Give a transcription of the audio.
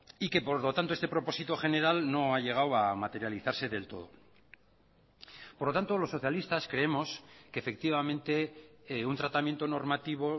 y que por lo tanto este propósito general no ha llegado a materializarse del todo por lo tanto los socialistas creemos que efectivamente un tratamiento normativo